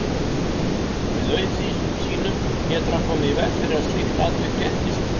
Með auð sínum getur hann komið í veg fyrir að slík atvik fréttist.